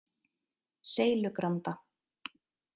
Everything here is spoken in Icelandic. Seilugranda